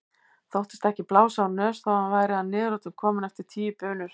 Þóttist ekki blása úr nös þó að hann væri að niðurlotum kominn eftir tíu bunur.